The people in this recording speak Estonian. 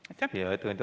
Aitäh, hea ettekandja!